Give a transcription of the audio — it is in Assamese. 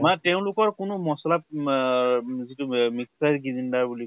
বা তেওঁলোকৰ কোনো মছলা আ যিটো mixture গিৰিন্দাৰ বুলি কয়